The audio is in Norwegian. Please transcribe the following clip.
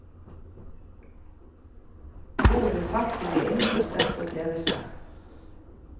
Ord blir fattige innfor sterke opplevelser.